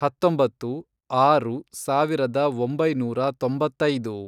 ಹತ್ತೊಂಬತ್ತು, ಆರು, ಸಾವಿರದ ಒಂಬೈನೂರ ತೊಂಬತ್ತೈದು